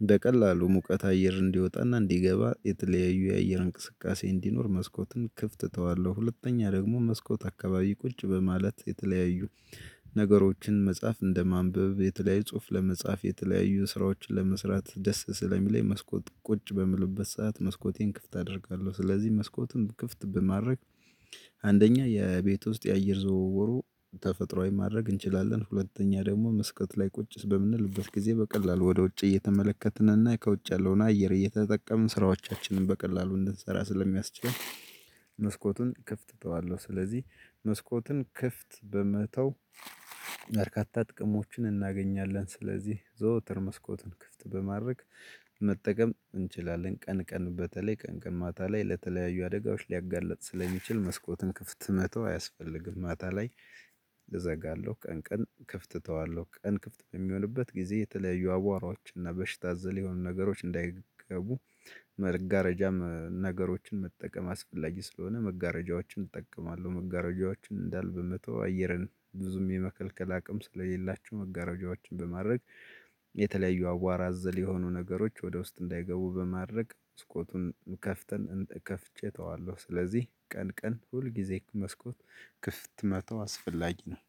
እንደ ቀላሉ ሙቀት አየር እንዲወጣና እንዲገባ የተለያዩ የአየር እንቅስቃሴ እንዲኖር መስኮትን ክፍት እተዋለሁ። ሁለተኛ ደግሞ መስኮት አካባቢ ቁጭ በማለት የተለያዩ ነገሮችን መጽሐፍ እንደማንበብ የተለያዩ ጽሁፍ ለመጻፍ የተለያዩ ስራዎችን ለመስራት ደስ ስለሚለኝ መስኮት ቁጭ በምልበት ሰዓት መስኮቱን ክፍት አደርጋለሁ። ስለዚህ መስኮቱን ክፍት በማድረግ አንደኛ የቤት ውስጥ የአየር ዝውውሩ ተፈጥሮአዊ ማድረግ እንችላለን። ሁለተኛ ደግሞ መስኮት ላይ ቁጭ በምንልበት ጊዜ በቀላሉ ወደ ውጭ እየተመለከትንና ከውጭ ያለውን አየር እየተጠቀምን ስራዎቻችንን በቀላሉ እንድንሰራ ስለሚያስችል መስኮቱን እከፍተዋለሁ። ስለዚህ መስኮትን ክፍት በመተው በርካታ ጥቅሞችን እናገኛለን። ስለዚህ ዘወትር መስኮትን ክፍት በማድረግ መጠቀም እንችላለን። ቀን ቀን በተለይ ቀን ቀን ማታ ላይ ለተለያዩ አደጋዎች ሊያጋልጥ ስለሚችል መስኮትን ክፍት መተው አያስፈልግም። ማታ ላይ እዘጋለሁ። ቀን ቀን ክፍት እተዋለሁ ቀን ክፍት በሚሆንበት ጊዜ የተለያዩ አቧራዎች እና በሽታ ዘለይ የሆኑ ነገሮች እንዳይገቡ። መጋረጃም ነገሮችን መጠቀም አስፈላጊ ስለሆነ መጋረጃዎችን እጠቀማለሁ። መጋረጃዎችን እንዳለ በመተው አየርን ብዙም የመከልከል አቅም ስለሌላቸው መጋረጃዎችን በማድረግ የተለያዩ አቧራ አዘል የሆኑ ነገሮች ወደ ውስጥ እንዳይገቡ በማድረግ መስኮቱን ከፍተን እንደ ከፍቼ እተዋለሁ። ስለዚህ ቀን ቀን ሁልጊዜ መስኮት ክፍት መተው አስፈላጊ ነው።